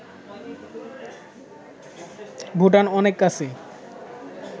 ভুটান অনেক কাছে